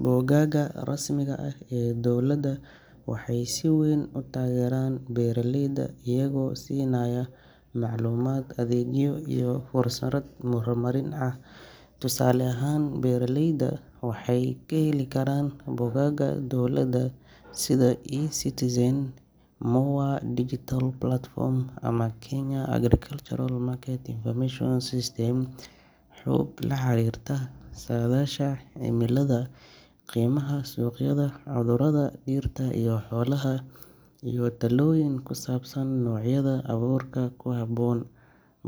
Bogagga rasmiga ah ee dowladda waxay si weyn u taageeraan beeraleyda iyagoo siinaya macluumaad, adeegyo iyo fursado horumarineed oo casri ah. Tusaale ahaan, beeraleydu waxay ka heli karaan bogagga dowladda sida eCitizen, MoA Digital Platform, ama Kenya Agricultural Market Information System (KAMIS) xog la xiriirta saadaasha cimilada, qiimaha suuqyada, cudurrada dhirta iyo xoolaha, iyo talooyin ku saabsan noocyada abuurka ku habboon.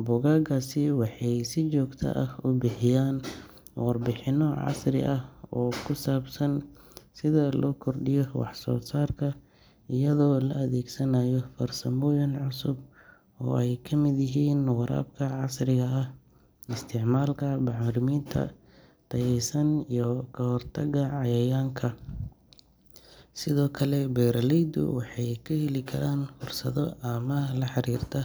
Bogaggaasi waxay si joogto ah u bixiyaan warbixinno casri ah oo ku saabsan sida loo kordhiyo wax-soo-saarka iyadoo la adeegsanayo farsamooyin cusub oo ay ka mid yihiin waraabka casriga ah, isticmaalka bacriminta tayaysan, iyo ka hortagga cayayaanka. Sidoo kale beeraleydu waxay ka heli karaan fursado amaah la xiriirta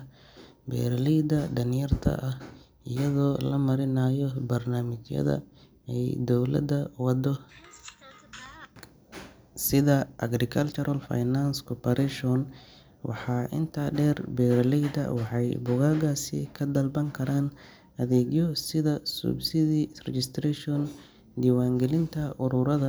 beeraleyda danyarta ah, iyadoo la marinayo barnaamijyada ay dowladda wado sida Agricultural Finance Corporation AFC. Waxaa intaa dheer, beeraleyda waxay bogaggaasi ka dalban karaan adeegyo sida subsidy registration, diiwaangelinta ururrada.